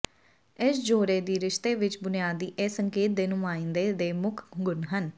ਇਸ ਜੋੜੇ ਦੀ ਰਿਸ਼ਤੇ ਵਿਚ ਬੁਨਿਆਦੀ ਇਹ ਸੰਕੇਤ ਦੇ ਨੁਮਾਇੰਦੇ ਦੇ ਮੁੱਖ ਗੁਣ ਹਨ